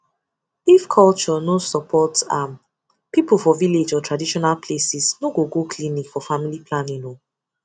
if culture no support um am people for village or traditional places no go go clinic for family planning o